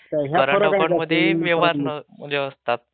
Current अकाउंटमध्ये व्यवहार हे असतात.